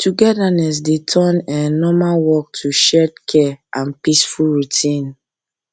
togetherness dey turn um normal work to shared care and peaceful routine